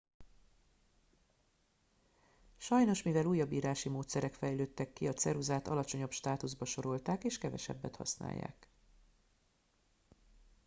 sajnos mivel újabb írási módszerek fejlődtek ki a ceruzát alacsonyabb státuszba sorolták és kevesebbet használják